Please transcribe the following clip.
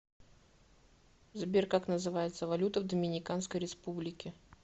сбер как называется валюта в доминиканской республике